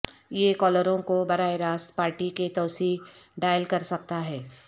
یہ کالروں کو براہ راست پارٹی کے توسیع ڈائل کر سکتا ہے